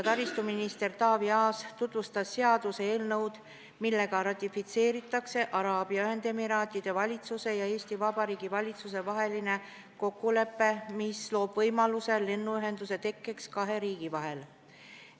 Minister Taavi Aas tutvustas seaduseelnõu, millega ratifitseeritakse Araabia Ühendemiraatide valitsuse ja Eesti Vabariigi valitsuse vaheline kokkulepe, mis loob võimaluse lennuühenduse tekkeks kahe riigi vahel.